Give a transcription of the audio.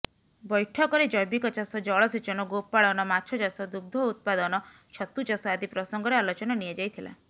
ବ୘ଠକରେ ଜ୘ବିକ ଚାଷ ଜଳସେଚନ ଗୋପାଳନ ମାଛଚାଷ ଦୁଗ୍ଧ ଉତ୍ପାଦନ ଛତୁଚାଷ ଆଦି ପ୍ରସଙ୍ଗରେ ଆଲୋଚନା ନିଆଯାଇଥିଲା